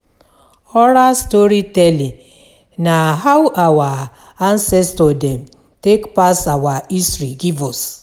Oral storytelling na how our ancestor dem take pass our history give us.